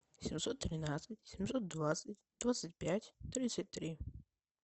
семьсот тринадцать семьсот двадцать двадцать пять тридцать три